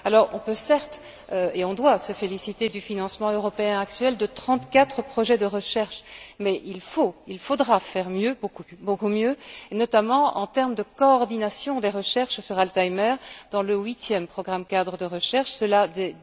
On peut certes et on doit se féliciter du financement européen actuel de trente quatre projets de recherche mais il faudra faire mieux, beaucoup mieux même, et notamment en termes de coordination des recherches sur Alzheimer dans le huitième programme cadre de recherche et cela dès